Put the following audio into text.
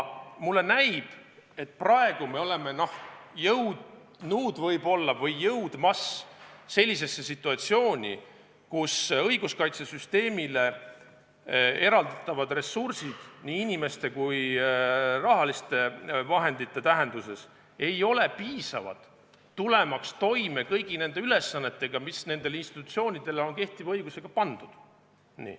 Mulle näib, et praegu me oleme jõudnud või jõudmas sellisesse situatsiooni, kus õiguskaitsesüsteemile eraldatavad ressursid – nii inimeste kui ka rahaliste vahendite tähenduses – ei ole piisavad tulemaks toime kõigi nende ülesannetega, mis nendele institutsioonidele on kehtiva õigusega pandud.